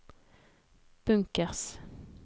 bunkers